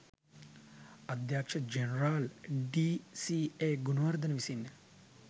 අධ්‍යක්ෂ general D C A. Gunawardena විසින්ය